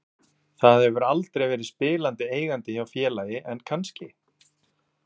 Það hefur aldrei verið spilandi eigandi hjá félagi en kannski?